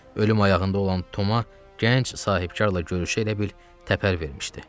Ölüm ayağında olan Toma gənc sahibkarla görüşə elə bil təpər vermişdi.